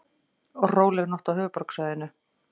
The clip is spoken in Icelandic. Róleg nótt á höfuðborgarsvæðinu